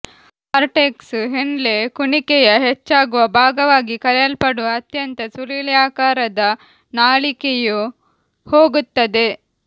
cortex Henle ಕುಣಿಕೆಯ ಹೆಚ್ಚಾಗುವ ಭಾಗವಾಗಿ ಕರೆಯಲ್ಪಡುವ ಅಂತ್ಯದ ಸುರುಳಿಯಾಕಾರದ ನಾಳಿಕೆಯು ಹೋಗುತ್ತದೆ